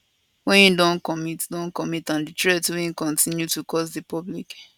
wey im don commit don commit and di threat wey im kontinu to cause di public